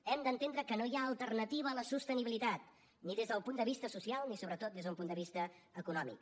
hem d’entendre que no hi ha alternativa a la sostenibilitat ni des del punt de vista social ni sobretot des d’un punt de vista econòmic